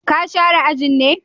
Ka share ajin ne?